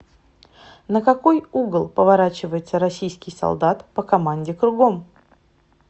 на какой угол поворачивается российский солдат по команде кругом